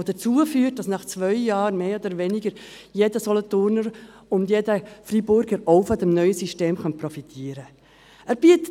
Dies würde dazu führen, dass nach zwei Jahren mehr oder weniger auch jeder Solothurner und jeder Freiburger von diesem neuen System profitieren könnte.